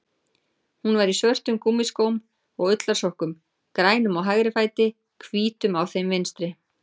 Hún var í svörtum gúmmískóm og ullarsokkum, grænum á hægri fæti, hvítum á þeim vinstri.